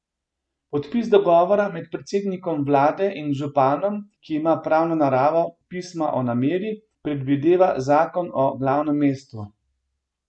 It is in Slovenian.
Podpis dogovora med predsednikom vlade in županom, ki ima pravno naravo pisma o nameri, predvideva zakon o glavnem mestu.